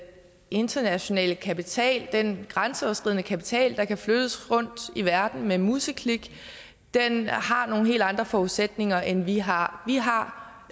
internationale kapital den grænseoverskridende kapital der kan flyttes rundt i verden med et museklik har nogle helt andre forudsætninger end vi har vi har